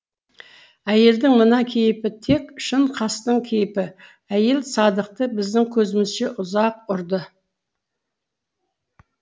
әйелдің мына кейпі тек шын қастың кейпі әйел садықты біздің көзімізше ұзақ ұрды